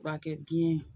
Furakɛ biyɛn